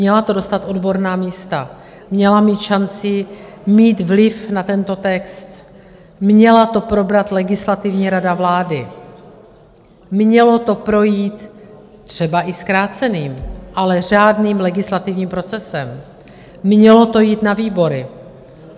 Měla to dostat odborná místa, měla mít šanci mít vliv na tento text, měla to probrat Legislativní rada vlády, mělo to projít třeba i zkráceným, ale řádným legislativním procesem, mělo to jít na výbory.